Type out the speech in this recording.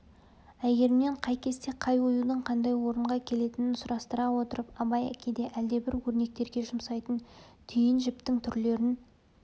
әйгерімнен қай кесте қай оюдың қандай орынға келетінін сұрастыра отырып абай кейде әлдебір өрнектерге жұмсайтын түйін жіптің түрлерін